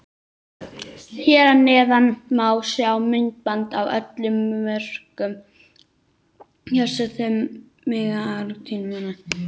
Hér að neðan má sjá myndband af öllum mörkunum hjá þessum magnaða Argentínumanni.